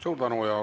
Suur tänu!